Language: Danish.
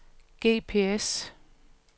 GPS